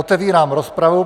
Otevírám rozpravu.